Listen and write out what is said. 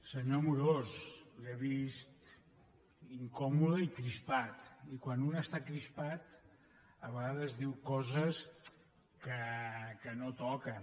senyor amorós l’he vist incòmode i crispat i quan un està crispat a vegades diu coses que no toquen